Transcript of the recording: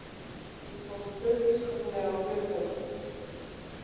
Þó tókst fullkomlega á hlutunum.